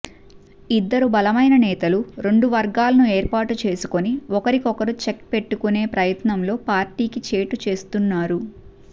ఇద్దరు బలమైన నేతలు రెండు వర్గాలను ఏర్పాటుచేసుకొని ఒకరికి ఒకరు చెక్ పెట్టుకునే ప్రయత్నంలో పార్టీకి చేటు చేస్తున్నారు